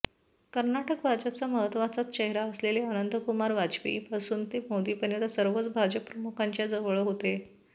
कर्नाटक भाजपचा महत्त्वाच चेहरा असलेले अनंत कुमार वाजपेयींपासून ते मोदींपर्यंत सर्वच भाजप प्रमुखांच्या जवळ होते